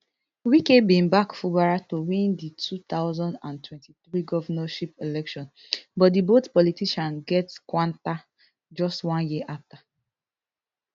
wike bin back fubara to win di two thousand and twenty-three governorship election but di both politicians get kwanta just one year later